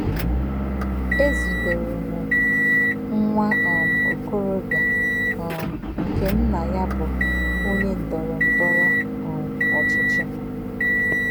E zutere m nwa um okorobịa um nke nna ya bụ onye ndọrọ ndọrọ um ọchịchị.